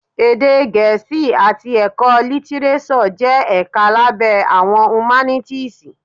Èdè Gẹẹ́sì àti Ẹ̀kọ́ Lítírésọ̀ jẹ́ ẹ̀ka lábẹ́ Àwọn Humanities.